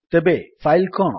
ତେବେ ଫାଇଲ୍ କଣ